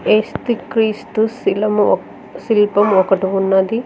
ఏసుక్రీస్తు శిలం శిల్పం ఒకటి ఉన్నది.